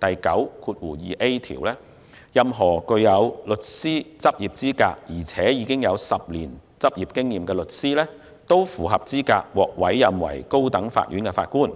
第9條，任何具有律師執業資格並有10年執業經驗的律師，均符合資格獲委任為高等法院法官。